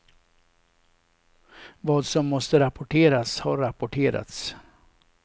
Vad som måste rapporteras har rapporterats.